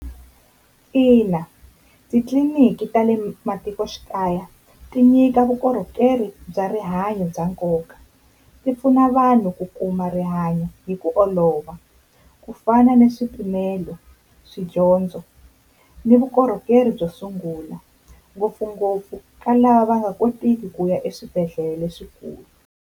Ina, titliliniki ta le matikoxikaya ti nyika vukorhokeri bya rihanyo bya nkoka, ti pfuna vanhu ku kuma rihanyo hi ku olova nhova ku fana ni swipimelo swa dyondzo ni vukorhokeri byo sungula ngopfungopfu ka lava va nga kotiki ku ya eswibedhlele leswikulu.